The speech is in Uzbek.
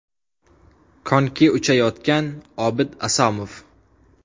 Konki uchayotgan Obid Asomov.